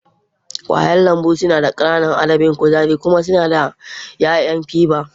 Ƙwayen lambu suna da ƙananan adadin kuzari kuma suna da yawan fiber.